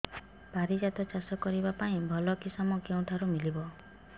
ପାରିଜାତ ଚାଷ କରିବା ପାଇଁ ଭଲ କିଶମ କେଉଁଠାରୁ ମିଳିବ